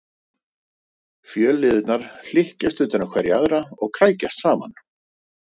Fjölliðurnar hlykkjast utan um hverja aðra og krækjast saman.